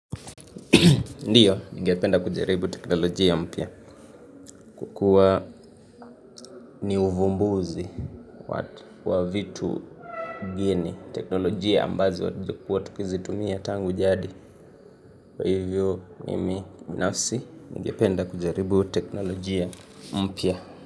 Ndiyo ningependa kujaribu teknolojia mpya kwa kuwa ni uvumbuzi wa vitu geni teknolojia ambazo huwa tukizitumia tangu jadi kwa hivyo mimi binafsi ningependa kujaribu teknolojia mpya.